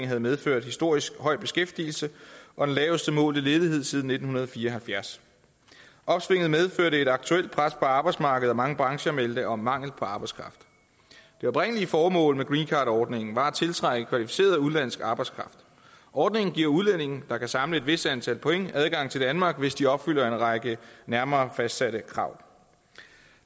havde medført historisk høj beskæftigelse og den laveste målte ledighed siden nitten fire og halvfjerds opsvinget medførte et aktuelt pres på arbejdsmarkedet og mange brancher meldte om mangel på arbejdskraft det oprindelige formål med greencardordningen var at tiltrække kvalificeret udenlandsk arbejdskraft ordningen giver udlændinge der kan samle et vist antal point adgang til danmark hvis de opfylder en række nærmere fastsatte krav